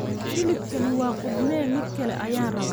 hilibkani waa qudhme mid kale ayaan rabaa